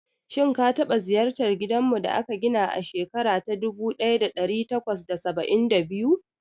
Shin ka taba ziyartar gidanmu da aka gina a shekara ta dubu daya da dari takwas da saba'in da biyu?